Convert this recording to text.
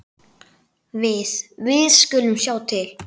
Við. við skulum sjá til.